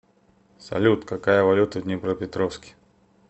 салют какая валюта в днепропетровске